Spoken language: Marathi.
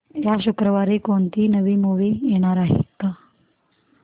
या शुक्रवारी कोणती नवी मूवी येणार आहे का